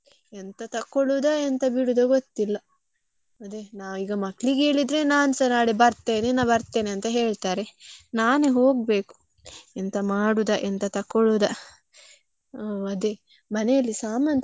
ಎಂತ ಬಿಡುದ ಗೊತ್ತಿಲ್ಲ ಅದೇ ನಾನೀಗ ಮಕ್ಕಳಿಗೆ ಹೇಳಿದ್ರೆ ನಾನ್ಸ ನಾಳೆ ಬರ್ತೇನೆ ನಾ~ ಬರ್ತೇನೆ ಅಂತ ಹೇಳ್ತಾರೆ. ನಾನೇ ಹೋಗ್ಬೇಕು ಎಂತ ಮಾಡುದ ಎಂತ ತಕೊಳ್ಳುದ, ಅದೇ ಮನೆಯಲ್ಲಿ ಸಾಮಾನ್ಸ ಖಾಲಿ~ ಖಾಲಿಯಾಗಿದೆ.